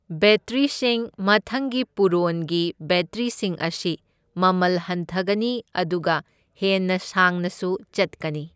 ꯕꯦꯇ꯭ꯔꯤꯁꯤꯡ ꯃꯊꯪꯒꯤ ꯄꯨꯔꯣꯟꯒꯤ ꯕꯦꯇ꯭ꯔꯤꯁꯤꯡ ꯑꯁꯤ ꯃꯃꯜ ꯍꯟꯊꯒꯅꯤ ꯑꯗꯨꯒ ꯍꯦꯟꯅ ꯁꯥꯡꯅꯁꯨ ꯆꯠꯀꯅꯤ꯫